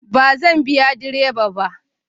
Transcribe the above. Ba zan biya direba ba